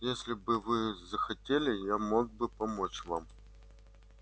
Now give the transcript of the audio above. если бы вы захотели я мог бы помочь вам